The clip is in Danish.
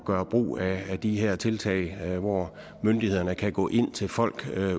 gøre brug af de her tiltag hvor myndighederne kan gå ind til folk